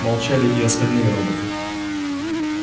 молчали и остальные роботы